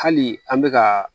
Hali an bɛ ka